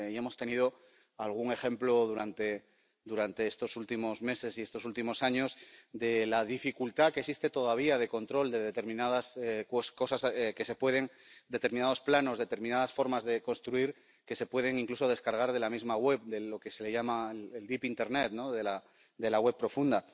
Y hemos tenido algún ejemplo durante estos últimos meses y estos últimos años de la dificultad que existe todavía de control de determinadas cosas, determinados planos, determinadas formas de construir que se pueden incluso descargar de la misma web, de lo que se llama el deep internet, de la web profunda.